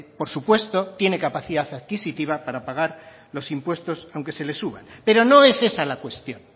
por supuesto que tiene capacidad adquisitiva para pagar los impuestos aunque se le suban pero no es esa la cuestión